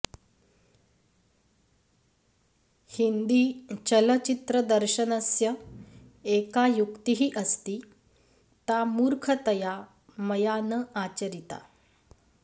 हिन्दीचलचित्रदर्शनस्य एका युक्तिः अस्ति ता मूर्खतया मया न आचरिता